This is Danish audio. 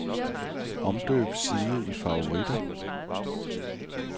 Omdøb side i favoritter.